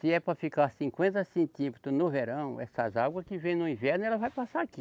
Se é para ficar cinquenta centímetros no verão, essas água que vêm no inverno, ela vai passar aqui.